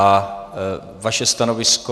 A vaše stanovisko?